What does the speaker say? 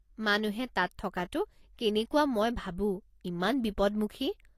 মানুহে তাত থকাতো কেনেকুৱা মই ভাবো, ইমান বিপদমুখী।